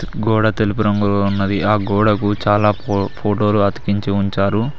గోడ తెలుపు రంగులో ఉన్నది ఆ గోడకు చాలా ఫో ఫోటోలు అతికించి ఉంచారు.